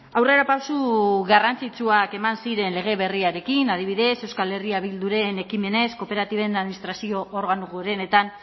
aurrerapauso garrantzitsuak eman ziren lege berriarekin adibidez euskal herria bilduren ekimenez kooperatiben administrazio organo gorenetan